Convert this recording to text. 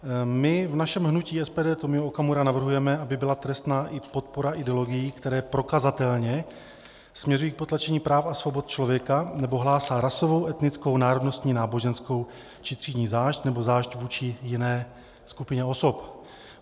My v našem hnutí SPD Tomio Okamura navrhujeme, aby byla trestná i podpora ideologií, které prokazatelně směřují k potlačení práv a svobod člověka nebo hlásají rasovou, etnickou, národnostní, náboženskou či třídní zášť nebo zášť vůči jiné skupině osob.